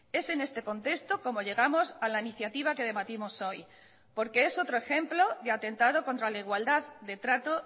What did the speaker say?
es en este contexto como llegamos a la iniciativa que debatimos hoy porque es otro ejemplo de atentado contra la igualdad de trato